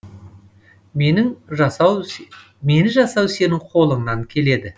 мені жасау сенің қолыңнан келеді